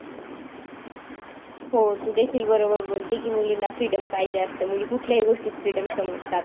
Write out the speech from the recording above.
हो, तू देखील बरोबर बोलते की मुलींना फ्रीडम पाहिजे असतं मुली कुठल्याही गोष्टीत फ्रीडम समजतात.